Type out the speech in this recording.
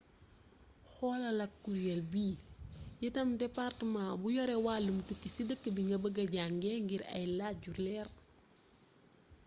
xolal ak kureel bi itam departemaa bu yore wàllum tukki ci dëkk bi nga bëgë jànge ngir ay laaj yu leer